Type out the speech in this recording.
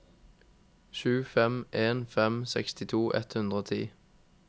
sju fem en fem sekstito ett hundre og ti